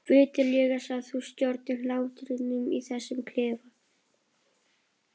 Viturlegast að þú stjórnir hlátrinum í þessum klefa.